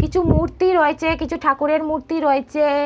কিছু মূর্তি রয়েছে কিছু ঠাকুরের মূর্তি রয়েছে-এ।